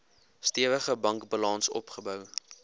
stewige bankbalans opgebou